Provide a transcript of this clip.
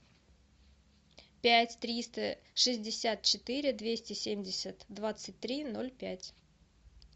пять триста шестьдесят четыре двести семьдесят двадцать три ноль пять